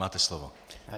Máte slovo.